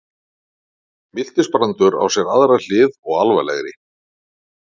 Miltisbrandur á sér aðra hlið og alvarlegri.